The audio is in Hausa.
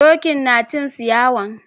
Dokin na cin ciyawan.